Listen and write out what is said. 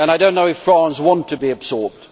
And I do not know if France wants to be absorbed.